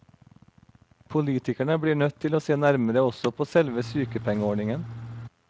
Politikerne blir nødt til å se nærmere også på selve sykepengeordningen.